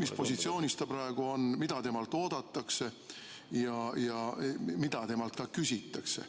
mis positsioonis ta praegu on, mida temalt oodatakse ja mida temalt küsitakse.